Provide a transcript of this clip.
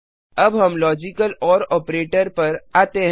अब हम logical or operator पर आते हैं